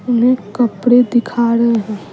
उन्हें कपड़े दिखा रहे हैं।